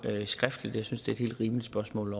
skriftligt jeg synes det er et helt rimeligt spørgsmål